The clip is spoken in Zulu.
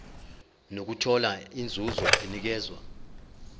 nokuthola inzuzo enikezwa